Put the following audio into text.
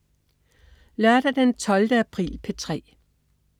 Lørdag den 12. april - P3: